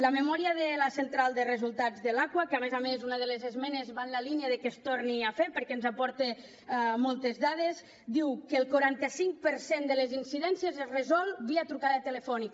la memòria de la central de resultats de l’aquas que a més a més una de les esmenes va en la línia de que es torni a fer perquè ens aporta moltes dades diu que el quaranta cinc per cent de les incidències es resolen via trucada telefònica